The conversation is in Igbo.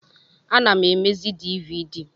Ana m emezi dịvịdị